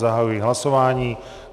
Zahajuji hlasování.